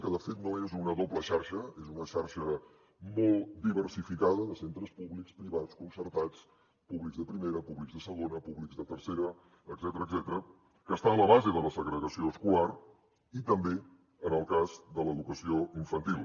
que de fet no és una doble xarxa és una xarxa molt diversificada de centres públics privats concertats públics de primera públics de segona públics de tercera etcètera que està a la base de la segregació escolar i també en el cas de l’educació infantil